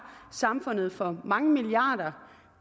samfundet for mange milliarder